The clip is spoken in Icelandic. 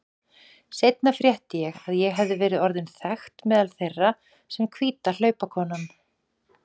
Seinna frétti ég að ég hefði verið orðin þekkt meðal þeirra sem hvíta hlaupakonan.